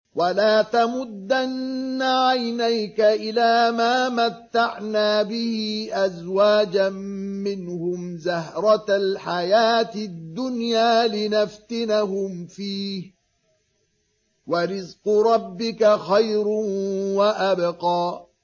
وَلَا تَمُدَّنَّ عَيْنَيْكَ إِلَىٰ مَا مَتَّعْنَا بِهِ أَزْوَاجًا مِّنْهُمْ زَهْرَةَ الْحَيَاةِ الدُّنْيَا لِنَفْتِنَهُمْ فِيهِ ۚ وَرِزْقُ رَبِّكَ خَيْرٌ وَأَبْقَىٰ